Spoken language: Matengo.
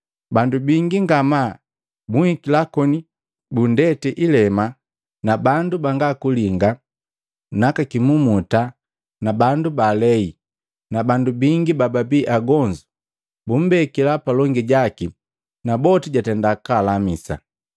Bandu bingi ngamaa bunhikila koni bunndeti ilema na bandu bangakulinga na aka kimumuta na bandu balei na bandu bingi bababi agonzu bumbekila palongi jaki naboti jatenda kwaalamisa.